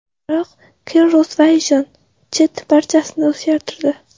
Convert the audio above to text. Biroq Cirrus Vision Jet barchasini o‘zgartirdi.